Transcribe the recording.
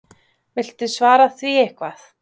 Viltu svara því eitthvað?